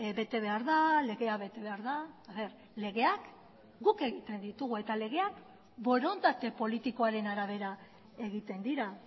bete behar da legea bete behar da legeak guk egiten ditugu eta legeak borondate politikoaren arabera egiten dira